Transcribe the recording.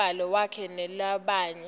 umbhalo wakhe newalabanye